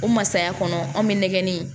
O masaya kɔnɔ anw bɛ nɛgɛnni